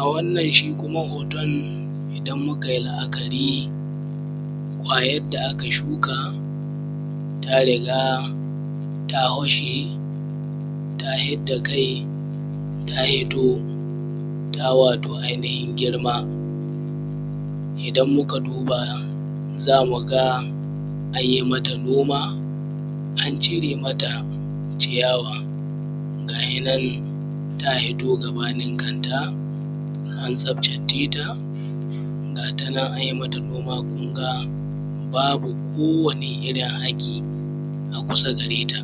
A wannan shi kuma hoton idan mukayi la’akari kwayadda da aka shuka tariga ta hito ta hwashe tai duhu ta hidda kaita hito ta wato ai nihin girma. Idan muka duba zamuga anyi mata noma an cire mata ciyawa, ga yinan ta hito gabanin kanta an tsaftace ta ga tanan anyi mata babu ko wani irin haki kusa gareta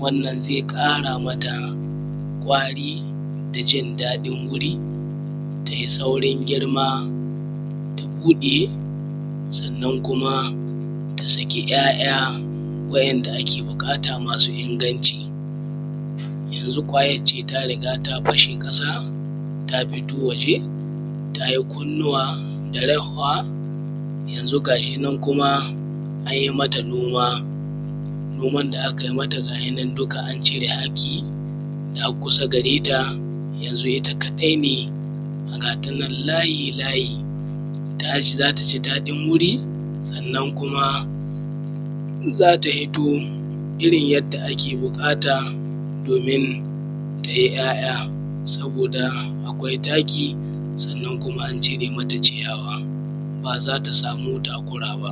wannan zai ƙara mata kwari dajin daɗin guri tayi saurin girma ta buɗe sannan kuma ta saki ‘ya’ya’ wa’yan’da ake buƙata masu inganci. Yanzu kwayance ta riga ta fashe ƙasa ta fito waje tayi kunnuwa da rahwa, ga yinan kuma nyi mata noma, noman da akai mata an cire ko wanni haki ga kusa gareta yanzu itta kaɗai ne gatanan layi layi zataji daɗin guri sannan kuma zata hito irin yadda ake buƙata domin tayi ‘ya’ya’ saboda akwai taki sannan kuma an cire mata ciyawa bazata sami damuwa ba